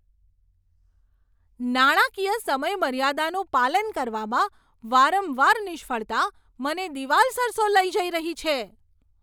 નાણાકીય સમયમર્યાદાનું પાલન કરવામાં વારંવાર નિષ્ફળતા મને દિવાલ સરસો લઈ જઈ રહી છે.